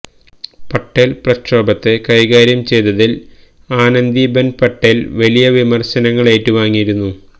പട്ടേല് പ്രക്ഷോഭത്തെ കൈകാര്യം ചെയ്തതില് ആനന്ദി ബെന് പട്ടേല് വലിയ വിമര്ശങ്ങളേറ്റു വാങ്ങിയിരുന്നു